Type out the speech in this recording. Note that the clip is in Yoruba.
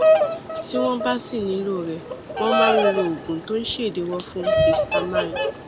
tí wọn bá sì nílò rẹ wọn máa ń lo oògùn tó ń ṣèdíwọ fún histamine